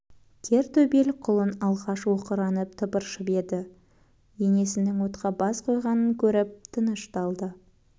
кер төбел құлын алғаш оқыранып тыпыршып еді енесінің отқа бас қойғанын көріп тынышталды